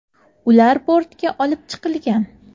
Ular bortga olib chiqilgan.